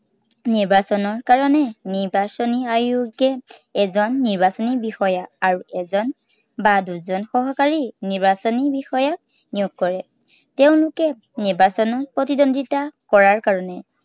নিৰ্বাচনৰ কাৰনে নিৰ্বাচনী আয়োগে, এজন নিৰ্বাচনী বিষয়া আৰু এজন বা দুজন সহকাৰী নিৰ্বাচনী বিষয়াক নিয়োগ কৰে। তেওঁলোকে নিৰ্বাচনত প্ৰতিদ্বন্দিতা কৰাৰ কাৰনে